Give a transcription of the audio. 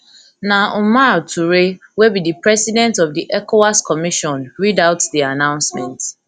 na omar touray wey be di president of di ecowas commission read commission read out di announcement